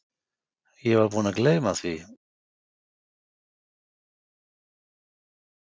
Ég var búinn að gleyma því, sagði hann, síðasti bústjórinn okkar var frá Íslandi.